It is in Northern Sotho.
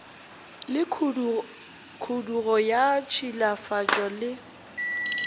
le khudugo ya ditšhilafatšo le